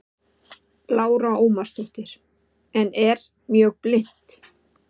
Lára Ómarsdóttir: En er mjög blint?